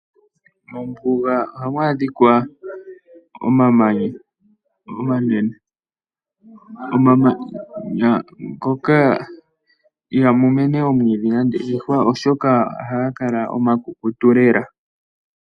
Mombuga ohamu adhika omamanya omanene, omamanya ngoka ihamu mene omwiidhi molwaashoka ohaga kala omakukutu lela.